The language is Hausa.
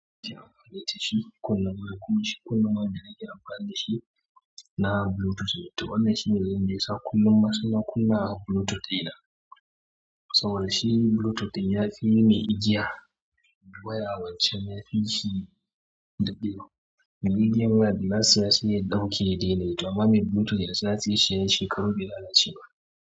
Shi kullum ma kuma shi kullum ma wanda nake amfani da shi na bluetooth ne. To wannan shine dalilin da yasa kullum masu na kullum i have bluetooth ina. Saboda shi bluetooth ɗin ya fi mai igiya waya wancan ya fi shi ɗadewa. Igiyan waya da na siya sai ya ɗauke ya diana yi, amma mai bluetooth to yanzu na saye shi shekaru be lalace ba.